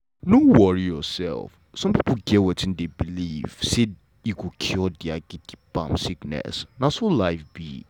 no worry yourself some pipo get wetin dem believe say go cure dia um sickness na so life be.